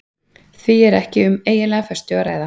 Hér er því ekki um eiginlega föstu að ræða.